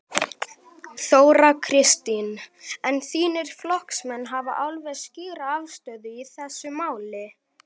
Þóra Kristín: En þínir flokksmenn hafa alveg skýra afstöðu í þessu máli?